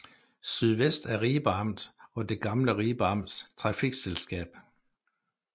SYDV er Ribe Amt og det gamle Ribe Amts trafikselskab